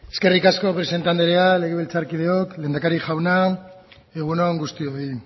eskerrik asko presidente andrea legebiltzarkideok lehendakari jauna egun on guztioi